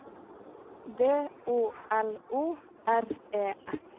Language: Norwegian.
D O L O R E S